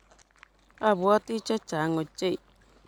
Abwoti chechang' ochei.